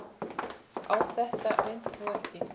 Á þetta reyndi þó ekki.